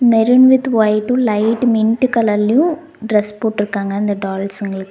Maroon with white light mint கலர்லயும் dress போட்ருக்காங்க அந்த டால்ஸ்ங்களுக்கு .